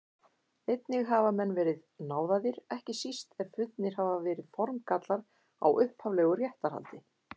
Einnig hafa menn verið náðaðir, ekki síst ef fundnir hafa verið formgallar á upphaflegu réttarhaldi.